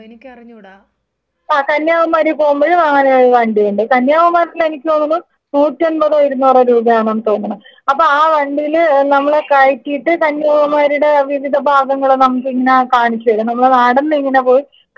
ആ കന്യാകുമാരി പോകുമ്പഴും അങ്ങനെയൊരു വണ്ടിയുണ്ട് കന്യാകുമാരിയിലെനിക്ക് തോന്നുന്നു നൂറ്റമ്പതോ ഇരുന്നൂറോ രൂപയാണെന്ന് തോന്നുന്നു അപ്പോ ആ വണ്ടീല് നമ്മളെ കയറ്റീട്ട് കന്യാകുമാരിയുടെ വിവിധ ഭാഗങ്ങള് നമുക്കിങ്ങനെ നമുക്ക് കാണിച്ചെരും നമ്മള് നടന്നിങ്ങനെ പോയി കാണണ്ട കാര്യമില്ല.